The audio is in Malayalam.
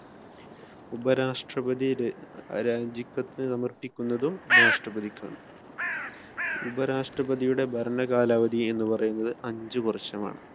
ഉപരാഷ്ട്രപതി രാജി കത്തും സമർപ്പിക്കുന്നത് രാഷ്ട്രപതിക്കാണ് ഉപരാഷ്ട്രപതിയുടെ ഭരണകാലാവധി എന്ന് പറയുന്നത് അഞ്ച് വർഷമാണ്.